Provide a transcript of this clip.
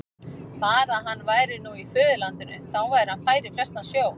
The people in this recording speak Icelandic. Bara að hann væri nú í föðurlandinu, þá væri hann fær í flestan sjó.